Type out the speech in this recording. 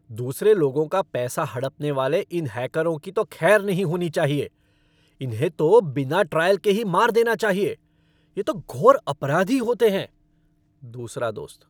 दूसरे लोगों का पैसा हड़पने वाले इन हैकरों की तो खैर नहीं होनी चाहिए, इन्हें तो बिना ट्रायल के ही मार देना चाहिए। ये तो घोर अपराधी होते हैं। दूसरा दोस्त